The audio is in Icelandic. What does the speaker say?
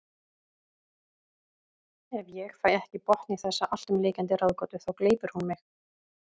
Ef ég fæ ekki botn í þessa alltumlykjandi ráðgátu þá gleypir hún mig.